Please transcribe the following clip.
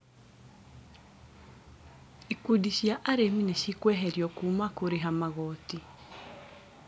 Ikundi cia arimi nĩcikũeherio kũũma kũrĩha magoti